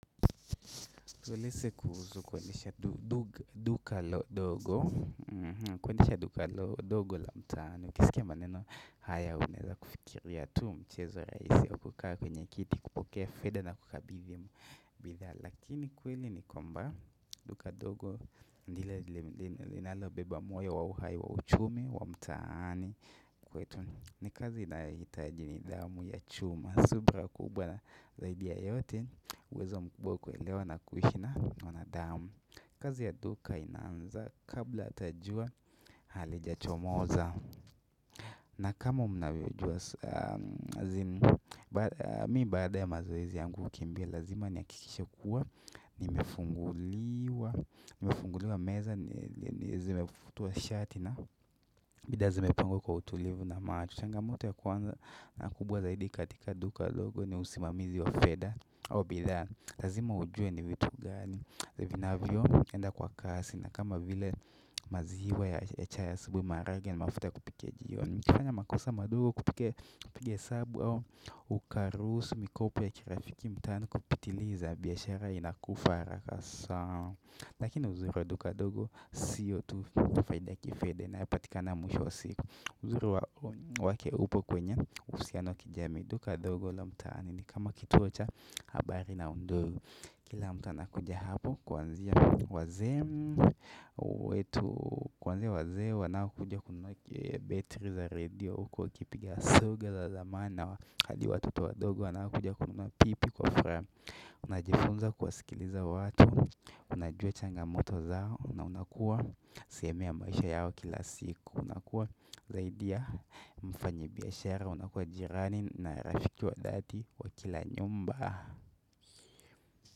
Tueleze kuhusu kuendesha duka dogo la mtaani. uKisikia maneno haya unaweza kufikiria tu mchezo rahisi wa kukaa kwenye kiti, kupokea fedha na kukabizi bidhaa. Lakini kweli nikwamba duka dogo nilile linalo beba moyo wa uhai wa uchumi wa mtaani. Kwetu nikazi inayohitaji nidhamu ya chuma subira kubwa na zaidi ya yote. Uwezo mkubwa kuelewa na kuishi na wanadamu kazi ya duka inaanza kabla hata jua halijachomoza na kama mnavyojua azimu Mimi baada ya mazoezi yangu kukimbia lazima ni hakikishekuwa Nimefunguliwa meza ni zimefutua shati na bidhaa zimepangwa kwa utulivu na macho changamoto ya kwanza na kubwa zaidi katika duka dogo ni usimamizi wa fedha au bidhaa, lazima ujue ni vitu gani vinavyo enda kwa kasi na kama vile maziwa ya chai asubuhi, maharage na mafuta ya kupikia jiioni ukifanya makosa madogo kupiga hesabu au Ukaruhusu, mikopo ya kirafiki mtaani kupitiliza biashara inakufa haraka lakini uzoefu wa duka dogo siyo tu faida ya kifedha inayopatikana mwishowa siku uzuri wake upo kwenye uhusiano wa kijamii duka dogo la mtaani ni kama kituo cha habari na ndio kila mtu anakuja hapo kuanzia wazee kuanzia wazee wanaokuja kununua battery za radio huku wakipiga soga za zamani hadi watoto wadogo wanaokuja kununua pipi kwa furaha unajifunza kuwasikiliza watu unajua changamoto zao na unakua sehemu ya maisha yao kila siku unakua zaidi ya mfanya biashara unakua jirani na rafiki wa dhati wakila nyumba.